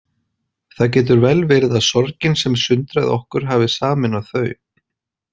Það getur vel verið að sorgin sem sundraði okkur hafi sameinað þau.